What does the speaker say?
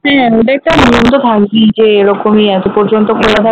হ্যাঁ ওটা তো যে এরকমই এত পর্যন্ত খোলা থাকবে